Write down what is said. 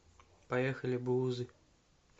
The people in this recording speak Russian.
поехали буузы